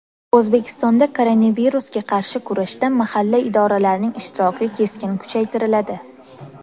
O‘zbekistonda koronavirusga qarshi kurashda mahalla idoralarining ishtiroki keskin kuchaytiriladi.